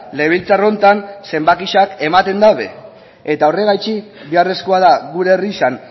legebiltzar honetan zenbakiak ematen daude eta horregatik beharrezkoa da gure herrian